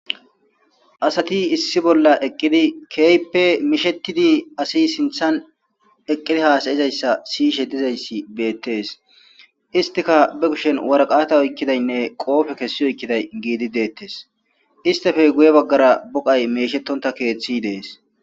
asati issi bolla eqqidi keype mishetidi asi sinthan eqqidi haasayizayssa siyishe dizayssi beettees istika be kushen waraqata oykkidaynne qoofe kessi oykkiday giidi deettes istefe guye baggara boqay meeshettonta keeththi dees